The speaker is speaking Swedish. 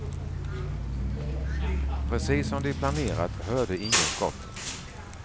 Precis som de planerat hörde ingen skotten.